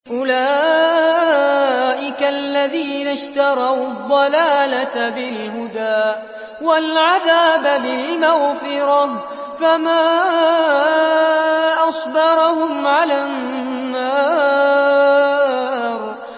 أُولَٰئِكَ الَّذِينَ اشْتَرَوُا الضَّلَالَةَ بِالْهُدَىٰ وَالْعَذَابَ بِالْمَغْفِرَةِ ۚ فَمَا أَصْبَرَهُمْ عَلَى النَّارِ